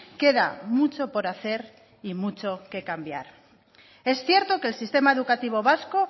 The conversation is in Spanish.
queda mucho por hacer y mucho que cambiar es cierto que el sistema educativo vasco